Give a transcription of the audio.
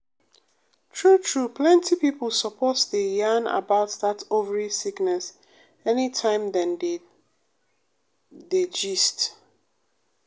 true true plenty pipo suppose dey yarn about that ovary sickness anytime dem dey dem dey gist.